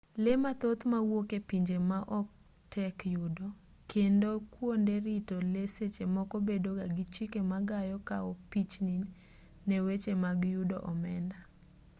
lee mathoth mawuok e pinje maoko tek yudo kendo kuonde rito lee seche moko bedo ga gi chike ma gayo kao pichni ne weche mag yudo omenda